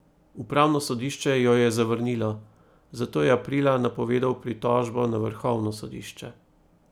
Upravno sodišče jo je zavrnilo, zato je aprila napovedal pritožbo na vrhovno sodišče.